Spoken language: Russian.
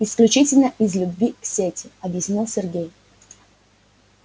исключительно из любви к сети объяснил сергей